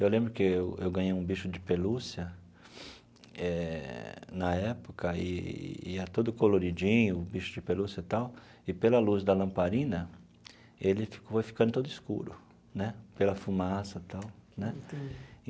Eu lembro que eu eu ganhei um bicho de pelúcia eh na época, e e era todo coloridinho, bicho de pelúcia e tal, e pela luz da lamparina, ele foi ficando todo escuro né, pela fumaça e tal né.